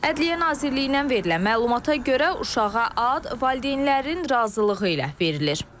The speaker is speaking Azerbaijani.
Ədliyyə Nazirliyindən verilən məlumata görə uşağa ad valideynlərin razılığı ilə verilir.